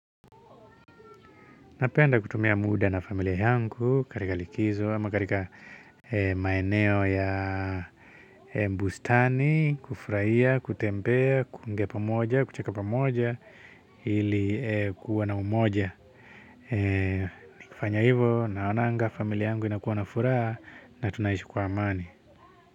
Napenda kutumia muda na familia yangu, katika likizo, ama katika maeneo ya bustani, kufurahia, kutembea, kuongea pamoja, kucheka pamoja, ili kuwa na umoja. Nikifanya hivo naonanga familia yangu inakuwa na furaha na tunaishi kwa amani.